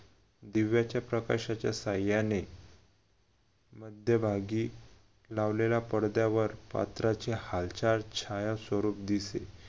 दिव्याच्या प्रकाशाच्या साहाय्याने मध्यभागी लावलेल्या पडद्यावर पात्राची हालचाल छाया स्वरूप दिसे.